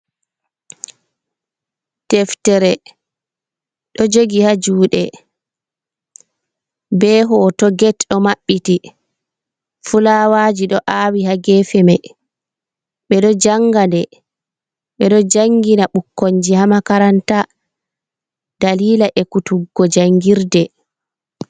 Deftere ɗo jogi haa juuɗe, be hooto get ɗo maɓɓiti, fulawaaji ɗo aawi haa geefe may. Ɓe ɗo jannga nde, ɓe ɗo janngina ɓukkonji haa makaranta, daliila ekkutuggo janngirde.